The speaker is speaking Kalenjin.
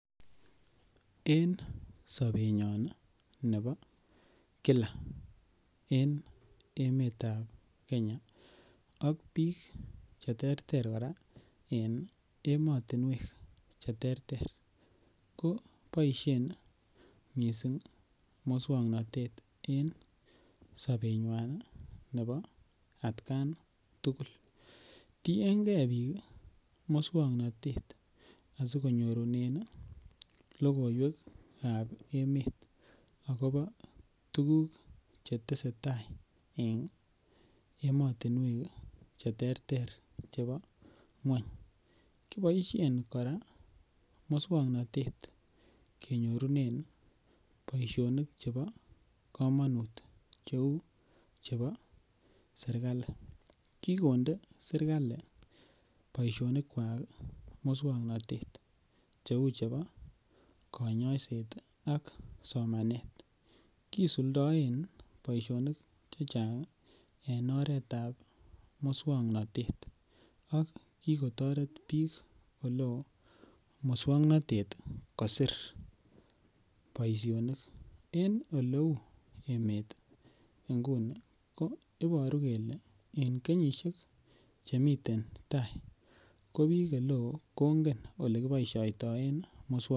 En sobenyon nebo kila en emetab Kenya ak biik cheterter kora en emotinwek cheterter ko boishen mising' muswang'natet en sobenywai nebo atkan tugul tiyeken biik muswang'natet asikonyorunen lokoiwekab emet akobo tukuk chetesei tai en emotinwek cheterter chebo ng'wony kiboishen kora muswang'natet kenyorunen boishonik chebo kamonut cheu chebo serikali kikonde serikali boishonikwak muswang'natet cheu chebo kanyaiset ak somanet kisuldaen boishonik chechang' en oretab muswang'natet ak kikotoret biik ole oo muswang'natet kosir boishonik en oleu emet nguni ko iboru kole en kenyishek chemiten tai ko biik ole oo kongen ole kiboishoitoen muswang'natet